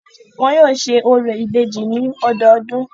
Wọn yóò ṣe orò ìbejì ní ọdọọdún.